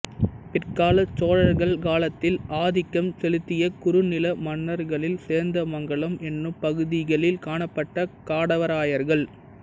பிற்காலச் சோழர்கள் காலத்தில் ஆதிக்கம் செலுத்திய குறுநில மன்னர்களில் சேந்தமங்கலம் என்னும் பகுதிகளில் காணப்பட்ட காடவராயர்கள்